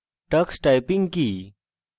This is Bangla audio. tux typing কি